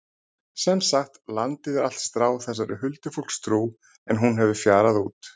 Sem sagt, landið er allt stráð þessari huldufólkstrú en hún hefur fjarað út.